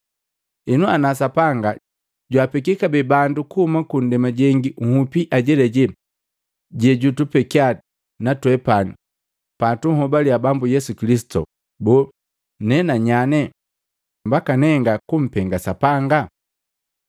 Henu, ana Sapanga jwaapeki kabee bandu bukuhuma ku ndema jengi nhupi ajelaje jejutupekya na twepani patunhobalya Bambu Yesu Kilisitu, boo, nena na nyane mbaka nenga kumpenga Sapanga?”